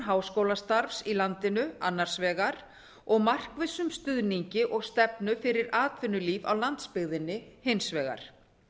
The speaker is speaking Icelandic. háskólastarfs í landinu annars vegar og markvissum stuðningi og stefnu fyrir atvinnulíf á landsbyggðinni hins vegar